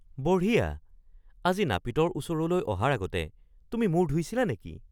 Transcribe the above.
বঢ়িয়া! আজি নাপিতৰ ওচৰলৈ অহাৰ আগতে তুমি মূৰ ধুইছিলা নেকি?